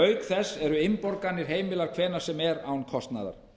auk þess eru innborganir heimilar hvenær sem er án kostnaðar